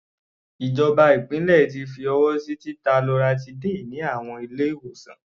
Ìjọba ìpínlẹ̀ ti fi ọwọ́ sí títa loratiday ní àwọn ilé-ìwòsàn.